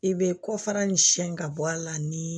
I bɛ kɔfara nin siyɛn ka bɔ a la ni